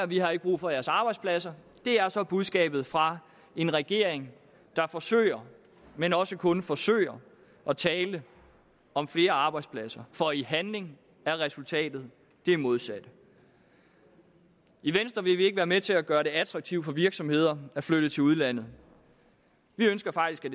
vi har ikke brug for jeres arbejdspladser det er så budskabet fra en regering der forsøger men også kun forsøger at tale om flere arbejdspladser for i handling er resultatet det modsatte i venstre vil vi ikke være med til at gøre det attraktivt for virksomheder at flytte til udlandet vi ønsker faktisk at